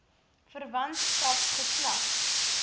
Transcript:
verwantskap geslag